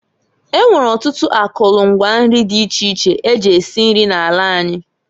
E nwere ọtụtụ akụlụ ngwa nri dị iche iche e ji esi nri n'ala anyị.